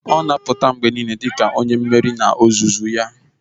Ọ na-apụta mgbe niile dị ka onye mmeri n'ozuzu ya